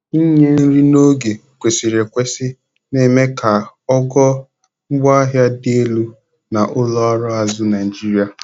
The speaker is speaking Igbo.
inye nri n'oge kwesịrị ekwesị na-eme ka ogo ngwaahia dị elu na ụlọ ọrụ azụ Naijiria